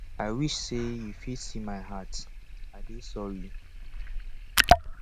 i wish say you fit see my heart i dey sorry